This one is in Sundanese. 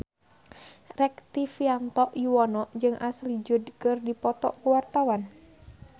Rektivianto Yoewono jeung Ashley Judd keur dipoto ku wartawan